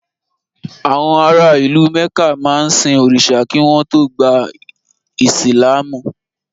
Àwọn ara ìlú Mẹ̀ká máa ń sin òrìṣà kí wọ́n tó gba ìsìlámù.